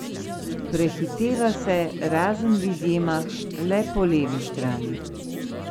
Prehiteva se, razen v izjemah, le po levi strani.